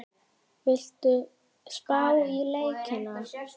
Viltu spá í leikina?